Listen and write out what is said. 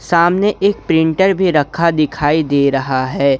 सामने एक प्रिंटर भी रखा दिखाई दे रहा है।